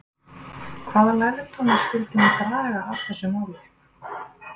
Hvaða lærdóma skyldi hún draga af þessu máli?